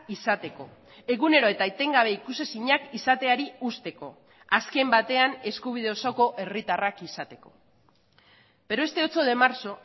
izateko egunero eta etengabe ikusezinak izateari uzteko azken batean eskubide osoko herritarrak izateko pero este ocho de marzo